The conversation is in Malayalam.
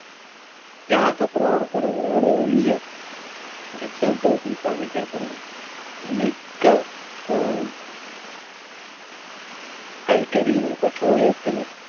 രാസ പ്രവർത്തനങ്ങളുടെ വഴിയും so two ഉല്പാദിപ്പിക്കപ്പെടുന്നു മിക്കപ്പോഴും കൽക്കരിയിലും Petroleum ത്തിലും